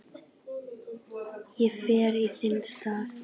Ég fer í þinn stað